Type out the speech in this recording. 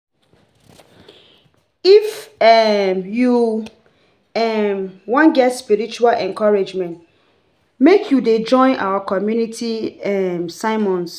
If um you um wan get spiritual encouragement, make you dey join our community um sermons